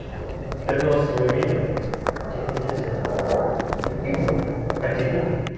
ты нос свой видел тебе нельзя другим можно а тебе нет